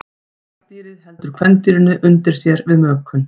Karldýrið heldur kvendýrinu undir sér við mökun.